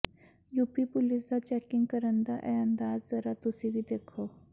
UP police ਦਾ checking ਕਰਨ ਦਾ ਇਹ ਅੰਦਾਜ਼ ਜ਼ਰਾ ਤੁਸੀਂ ਵੀ ਦੇਖੋ